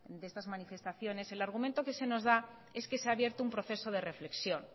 de estas manifestaciones el argumento que se nos da es que se ha abierto un proceso de reflexión